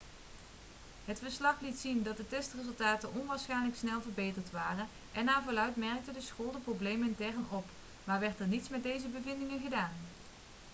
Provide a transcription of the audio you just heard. het verslag liet zien dat de testresultaten onwaarschijnlijk snel verbeterd waren en naar verluidt merkte de school de problemen intern op maar werd er niets met deze bevindingen gedaan